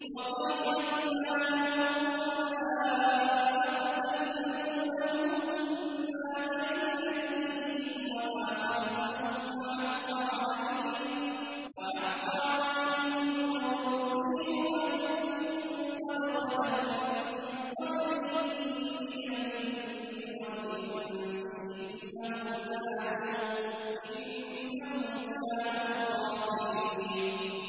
۞ وَقَيَّضْنَا لَهُمْ قُرَنَاءَ فَزَيَّنُوا لَهُم مَّا بَيْنَ أَيْدِيهِمْ وَمَا خَلْفَهُمْ وَحَقَّ عَلَيْهِمُ الْقَوْلُ فِي أُمَمٍ قَدْ خَلَتْ مِن قَبْلِهِم مِّنَ الْجِنِّ وَالْإِنسِ ۖ إِنَّهُمْ كَانُوا خَاسِرِينَ